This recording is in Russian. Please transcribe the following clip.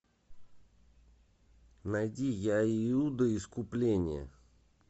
найди я иуда искупление